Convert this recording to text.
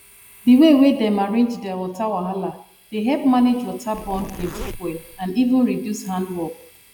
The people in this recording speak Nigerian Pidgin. di way wey dem arrange their water wahala dey help manage water burn plenty fuel and even reduce hand work